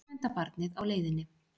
Sjöunda barnið á leiðinni